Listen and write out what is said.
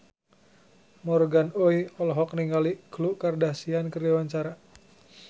Morgan Oey olohok ningali Khloe Kardashian keur diwawancara